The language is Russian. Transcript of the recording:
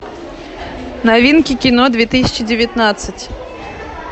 новинки кино две тысячи девятнадцать